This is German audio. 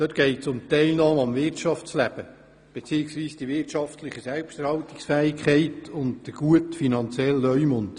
Darin geht es um die Teilnahme am Wirtschaftsleben beziehungsweise die wirtschaftliche Selbsterhaltungsfähigkeit sowie den guten finanziellen Leumund.